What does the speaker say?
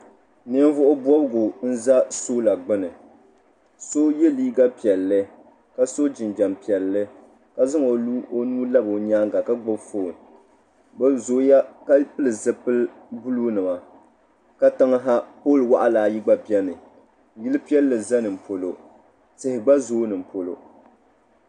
Ninvuɣu bobgu n za soola gbini so ye liiga piɛlli ka so jinjiɛm piɛlli ka zaŋ o nuu labi o nyaanga ka gbibi fooni bɛ zooya ka pili zipil'buluu nima katiŋ ha pooli waɣala ayi gba biɛni yili piɛlli za nimpolo tihi gba zoo nimpolo.